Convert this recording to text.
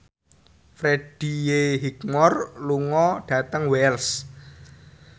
Freddie Highmore lunga dhateng Wells